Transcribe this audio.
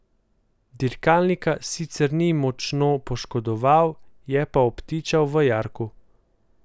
Dirkalnika sicer ni močno poškodoval, je pa obtičal v jarku.